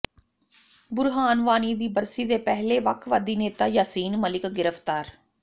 ਬੁਰਹਾਨ ਵਾਨੀ ਦੀ ਬਰਸੀ ਦੇ ਪਹਿਲੇ ਵੱਖਵਾਦੀ ਨੇਤਾ ਯਾਸੀਨ ਮਲਿਕ ਗਿ੍ਫਤਾਰ